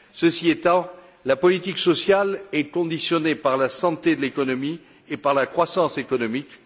Ceci étant, la politique sociale est conditionnée par la santé de l'économie et par la croissance économique.